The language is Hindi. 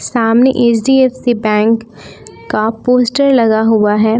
सामने एच_डी_एफ_सी बैंक का पोस्टर लगा हुआ है।